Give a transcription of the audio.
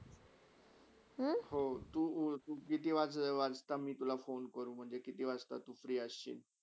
हो, तु ऑल तु किती वाज किती वाजता मी तुला फोनकडू म्हणजे तू किती वाजता तु free अशीळ?